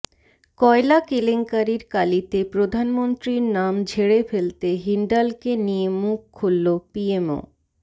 কয়লা কেলেঙ্কারির কালিতে প্রধানমন্ত্রীর নাম ঝেড়ে ফেলতে হিন্ডালকে নিয়ে মুখ খুলল পিএমও